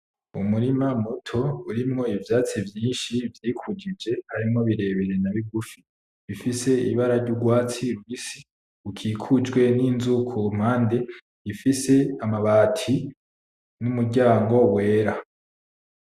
Umurima muto urimwo ivyatsi vyinshi vyikujije harimwo birebire na bigufi , bifise ibara ry'urwatsi rubisi , ukikujwe n'inzu kumpande, ifise amabati n'umuryango wera .